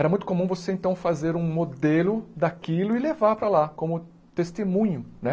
Era muito comum você então fazer um modelo daquilo e levar para lá como testemunho, né?